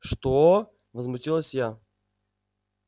что возмутилась я